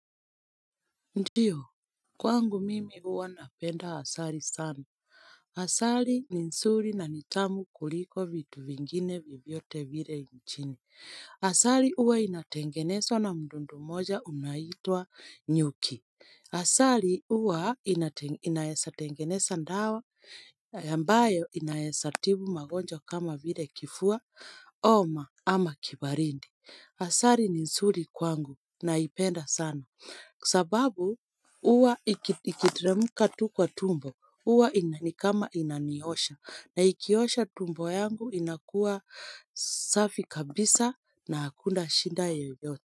Ndiyo, kwangu mimi huwa napenda asali sana. Asali ni nzuri na ni tamu kuliko vitu vingine vyovyote vile nchini. Asali huwa inatengenezwa na mdudu mmoja unaitwa nyuki. Asali huwa inaeza tengeneza dawa, ambayo inaeza tibu magonjwa kama vile kifua, homa ama kibaridi. Asali ni nzuri kwangu naipenda sana. Sababu huwa ikiteremka tu kwa tumbo huwa inanikama inaniosha na ikiosha tumbo yangu inakuwa safi kabisa na hakuda shinda yoyote.